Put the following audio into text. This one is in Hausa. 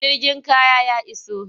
Jirgin kaya ya iso.